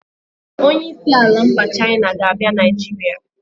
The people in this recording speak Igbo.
Onyeisi ala mba China ga-abịa Nigeria